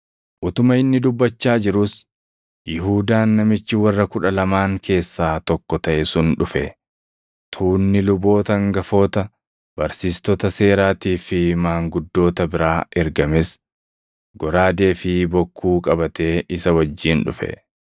Utuma inni dubbachaa jiruus, Yihuudaan namichi warra Kudha Lamaan keessaa tokko taʼe sun dhufe. Tuunni luboota hangafoota, barsiistota seeraatii fi maanguddoota biraa ergames goraadee fi bokkuu qabatee isa wajjin dhufe.